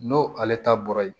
N'o ale ta bɔra yen